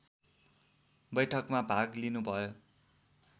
बैठकमा भाग लिनुभयो